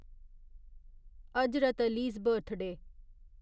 Hazrat Ali's birthday